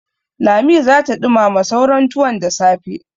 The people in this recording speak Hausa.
Lami za ta ɗumama sauran tuwon da safe.